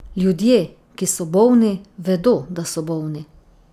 Ljudje, ki so bolni, vedo, da so bolni.